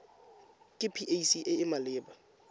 ke pac e e maleba